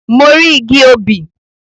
Mo rí igi obì.